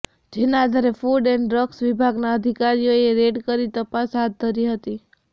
જેના આધારે food and drug વિભાગના અધિકારીઓએ રેડ કરી તપાસ હાથ ધરી હતી